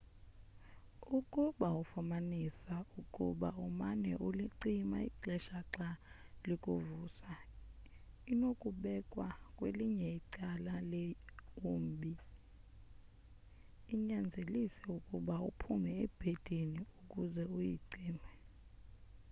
ukuba ufumanisa ukuba umane ulicima ixesha xa likuvusa inokubekwa kwelinye icala leumbi inyanzelise ukuba uphume ebhedini ukuze uyicime